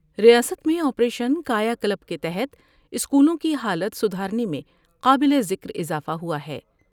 ریاست میں operation Kayakalp کے تحت اسکولوں کی حالت سدھارنے میں قابل ذکر اضافہ ہوا ہے۔